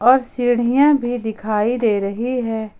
और सीढ़ियां भी दिखाई दे रही है।